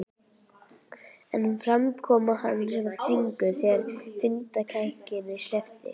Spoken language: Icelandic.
En framkoma hans var þvinguð þegar hundakætinni sleppti.